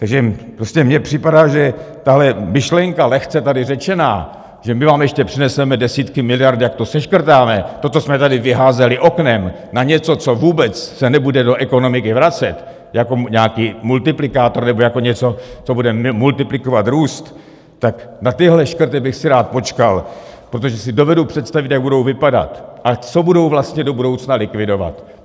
Takže prostě mně připadá, že tahle myšlenka, lehce tady řečená, že my vám ještě přineseme desítky miliard, jak to seškrtáme, to, co jsme tady vyházeli oknem, na něco, co vůbec se nebude do ekonomiky vracet jako nějaký multiplikátor nebo jako něco, co bude multiplikovat růst, tak na tyhle škrty bych si rád počkal, protože si dovedu představit, jak budou vypadat a co budou vlastně do budoucna likvidovat.